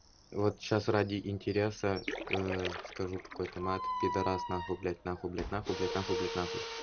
вот сейчас ради интереса скажу какой то мат пидарас нахуй блядь нахуй блядь нахуй блядь нахуй блядь нахуй